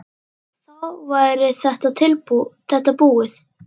Þá væri þetta búið.